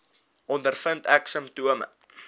ondervind ek simptome